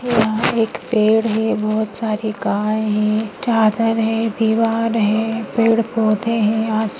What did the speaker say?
यहाँ एक पेड़ है बहुत सारी गाय है चादर है दीवार है पेड़ पोधे है आस--